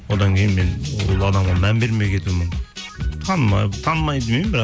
одан кейін мен ол адамға мән бермей кетуім танымай демеймін бірақ